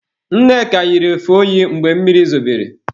Nneka yiri efe oyi mgbe mmiri zobere.